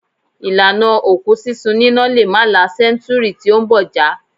Ìlànà òkú sísun níná lè má la sẹ́ńtúúrì tí ó ń bọ̀ já.